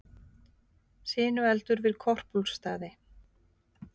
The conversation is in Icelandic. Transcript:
Sinueldur við Korpúlfsstaði